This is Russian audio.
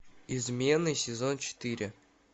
измены сезон четыре